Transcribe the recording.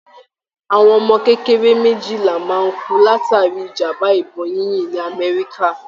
Àwọn ọmọ kékeré méjìlá máa ń kú látàrí ìjàmbá ìbọn yínyìn ní àmẹ́ríkà.